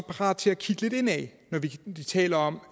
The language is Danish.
parat til at kigge lidt indad når vi taler om